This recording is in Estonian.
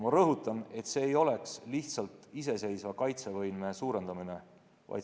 Ma rõhutan, et see ei oleks lihtsalt iseseisva kaitsevõime suurendamine.